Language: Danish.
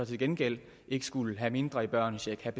til gengæld ikke skulle have en mindre børnecheck have